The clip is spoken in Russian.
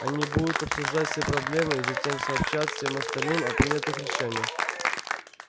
они будут обсуждать все проблемы и затем сообщать всем остальным о принятых решениях